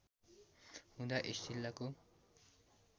हुँदा यस जिल्लाको